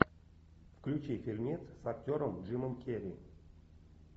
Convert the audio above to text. включи фильмец с актером джимом керри